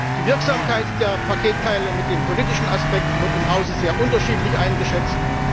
Die Wirksamkeit der Paketteile mit den politischen Aspekten wird im Hause sehr unterschiedlich eingeschätzt.